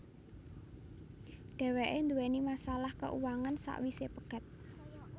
Dhèwèké duwèni masalah keuangan sawisé pegat